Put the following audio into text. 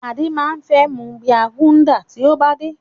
Adé máa fẹ́ mu bíà Gúdà tí ó bá dé.